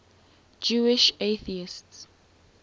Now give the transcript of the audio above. jewish atheists